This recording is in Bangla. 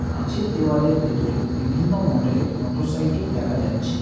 কাঁচের দেওয়ালের ভেতরে বিভিন্ন মডেলের মোটরসাইকেল দেখা যাচ্ছে।